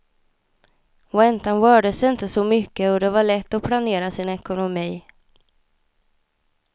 Räntan rörde sig inte så mycket och det var lätt att planera sin ekonomi.